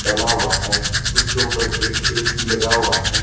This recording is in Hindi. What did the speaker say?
डला हुआ है उसके ऊपर एक ए_सी लगा हुआ है।